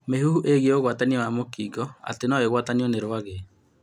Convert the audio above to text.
Mĩhuhu ĩĩgiĩ ũgwatia wa mũkingo; atĩ no ũgwatanio nĩ rwagĩ